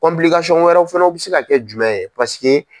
wɛrɛw fɛnɛw bɛ se ka kɛ jumɛn ye paseke.